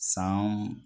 San